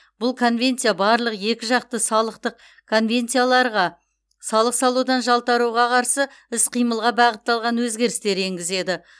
бұл конвенция барлық екіжақты салықтық конвенцияларға салық салудан жалтаруға қарсы іс қимылға бағытталған өзгерістер енгізеді